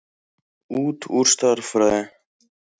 Út úr stærðfræði.